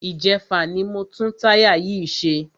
Ìjẹfà ni mo tún táyà yìí ṣe.